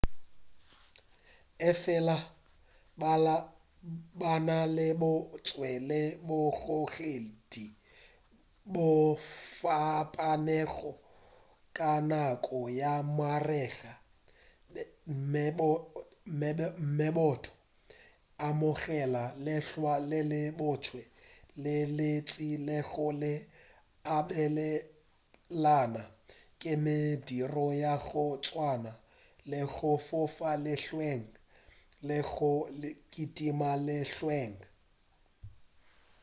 efela ba na le bo botse le bogogedi bjo fapanego ka nako ya marega meboto e amogela lehlwa le le botse le lentši le go abelana ka mediro ya go swana le go fofa lehlweng le go kitima lehlweng